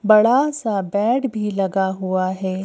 बड़ा सा बेड भी लगा हुआ है।